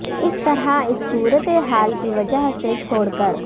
اس طرح اس صورت حال کی وجہ سے چھوڑ کر